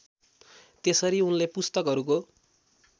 त्यसरी उनले पुस्तकहरूको